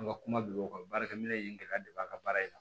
An ka kuma bi o kan baarakɛ minɛ in kɛ ka de b'a ka baara in na